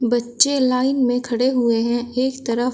बच्चे लाइन में खड़े हुए हैं एक तरफ।